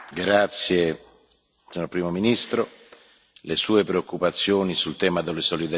Signor Primo ministro, le Sue preoccupazioni sul tema della solidarietà sono le nostre.